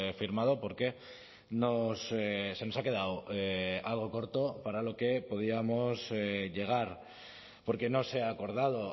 firmado porque se nos ha quedado algo corto para lo que podíamos llegar porque no se ha acordado